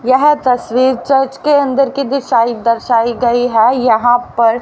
यह तस्वीर चर्च के अंदर की दिशाई दर्शाई गई है यहां पर--